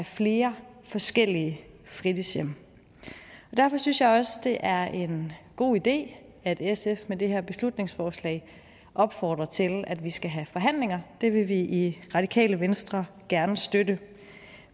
flere forskellige fritidshjem derfor synes jeg også at det er en god idé at sf med det her beslutningsforslag opfordrer til at vi skal have forhandlinger det vil vi i radikale venstre gerne støtte